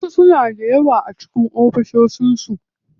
Wasu suna da yawa a cikin ofishin su.